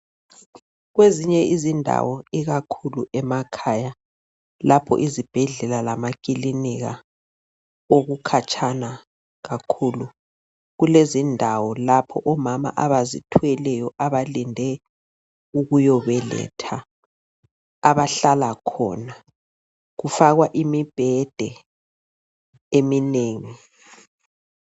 Kwezinye izindawo ikakhulu emakhaya lapho izibhedlela lama kilinika okukhatshana kakhulu kulezindawo lapho omama abazithweleyo abalinde ukuyobeletha abahlala khona kufakwa imibhede eminengi.